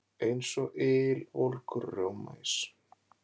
Eins og ylvolgur rjómaís.